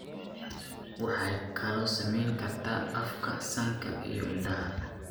Waxay kaloo saamayn kartaa afka, sanka, iyo indhaha.